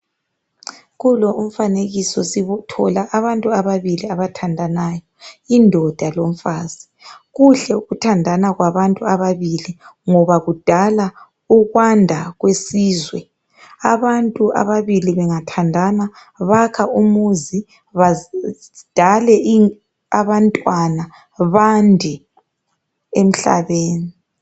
Kulo umfanekiso sithola abantu ababili abathandanayo indoda lomfazi kuhle ukuthandana kwabantu ababili ngoba kudala ukwanda kwesizwe abantu ababili bengathandana bakha umuzi badale abantwana bande emhlabeni.